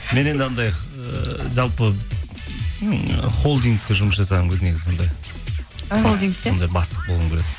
мен енді анандай ыыы жалпы холдингте жұмыс жасағым негізі анандай сондай бастық болғым келеді